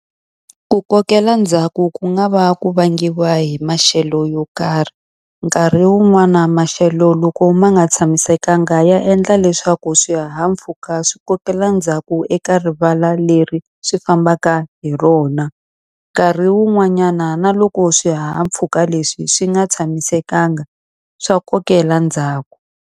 Ku kokela ndzhaku ku nga va ku vangiwa hi maxelo yo karhi. Nkarhi wun'wana maxelo loko ma nga tshamisekanga ya endla leswaku swihahampfhuka swi kokela ndzhaku eka rivala leri swi fambaka hi rona. Nkarhi wun'wanyana na loko swihahampfhuka leswi swi nga tshamisekanga, swa kokela ndzhaku.